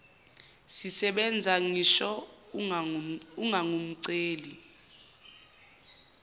zisebenza ngisho ungangumceli